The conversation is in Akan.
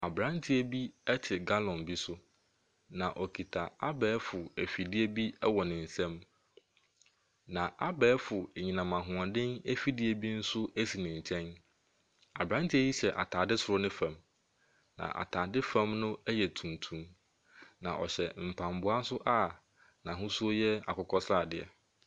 Abrantew bi ɛte gallon bi so na ɔkuta abɛɛfo ɛfidie bi ɛwɔ ne nsam. Na abɛɛfo anyinam ahoɔden afidie bi esi ne nkyɛn. Abranteɛ yi hyɛ ataade soro ne fam, na ataade fam no yɛ tuntum. Na ɔhyɛ mpaboa nso a n'ahosuo no yɛ akokɔ sradeɛ.